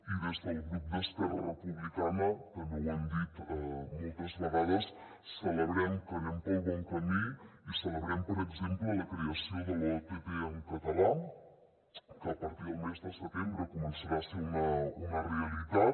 i des del grup d’esquerra republicana també ho hem dit moltes vegades celebrem que anem pel bon camí i celebrem per exemple la creació de l’ott en català que a partir del mes de setembre començarà a ser una realitat